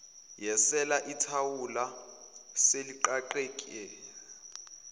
yesele ithawula seliqaqeke